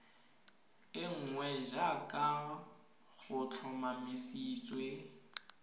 e nngwe jaaka go tlhomamisitswe